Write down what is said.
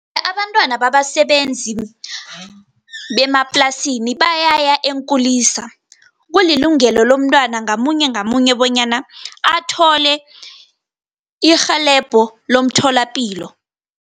Abantwana babasebenzi bemaplasini, bayaya eenkulisa. Kulilungelo lomntwana ngamunye, ngamunye bonyana athole irhelebho lomtholapilo.